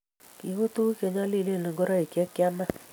ki tuku nyalilen ngoroik che kiamaa